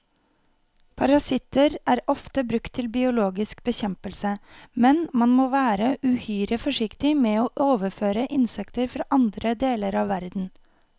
Parasitter er ofte brukt til biologisk bekjempelse, men man må være uhyre forsiktig med å overføre insekter fra andre deler av verden.